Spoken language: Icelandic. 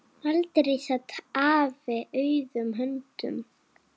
Aldrei sat afi auðum höndum.